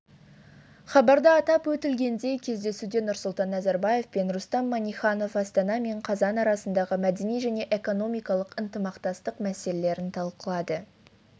хабарда атап өтілгендей кездесуде нұрсұлтан назарбаев пен рустам минниханов астана мен қазан арасындағы мәдени және экономикалық ынтымақтастық мәселелерін талқылады